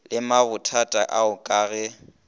le mabothata ao ka ge